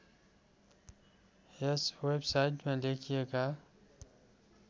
यस वेबसाइटमा लेखिएका